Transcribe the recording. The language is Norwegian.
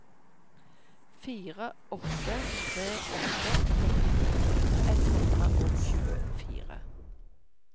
fire åtte tre åtte førtini ett hundre og tjuefire